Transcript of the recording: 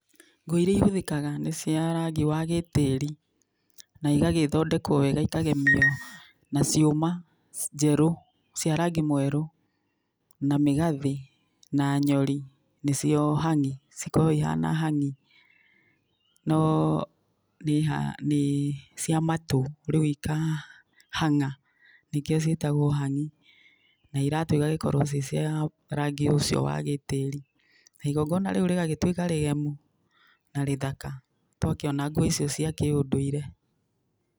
Nguo iria ihũthĩkaga nĩ cia rangi wa gĩtĩri, na igagĩthondekwo wega ikagemio na ciuma njerũ cia rangi mwerũ, na mĩgathĩ na nyori nĩcio hang'i cikoragwo ihana hang'i no nĩ cia matũ rĩu ikahang'a nĩkĩo ciĩtagwo hang'i na iratũ igagĩkorwo ci cia rangi ũcio wa gĩtĩri na igongona rĩu rĩgagĩtwĩka rĩgemu na rĩthaka twakĩona nguo icio cia kĩũndũirĩ.